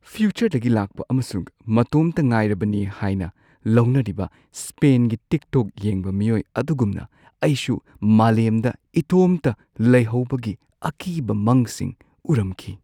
ꯐ꯭ꯌꯨꯆꯔꯗꯒꯤ ꯂꯥꯛꯄ ꯑꯃꯁꯨꯡ ꯃꯇꯣꯝꯇ ꯉꯥꯏꯔꯕꯅꯤ ꯍꯥꯏꯅ ꯂꯧꯅꯔꯤꯕ ꯁ꯭ꯄꯦꯟꯒꯤ ꯇꯤꯛꯇꯣꯛ ꯌꯦꯡꯕ ꯃꯤꯑꯣꯏ ꯑꯗꯨꯒꯨꯝꯅ ꯑꯩꯁꯨ ꯃꯥꯂꯦꯝꯗ ꯏꯇꯣꯝꯇ ꯂꯩꯍꯧꯕꯒꯤ ꯑꯀꯤꯕ ꯃꯪꯁꯤꯡ ꯎꯔꯝꯈꯤ꯫